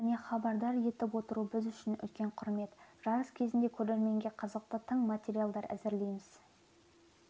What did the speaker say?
және хабардар етіп отыру біз үшін үлкен құрмет жарыс кезінде көрерменге қызықты тың материалдар әзірлейміз